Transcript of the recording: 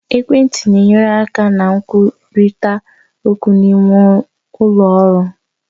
Ekwentị na-enyere aka na nkwurịta okwu n'ime ụlọ ọrụ.